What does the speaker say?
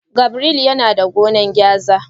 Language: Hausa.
Gabriel yana da gonan gwaza.